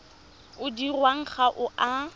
o dirwang ga o a